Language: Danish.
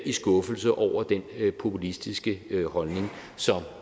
i skuffelse over den populistiske holdning som